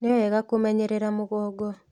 Nĩ wega kũmenyerera mũgongo